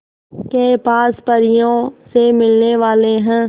के पास परियों से मिलने वाले हैं